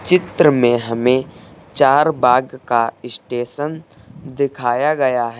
चित्र में हमें चारबाग का स्टेशन दिखाया गया है।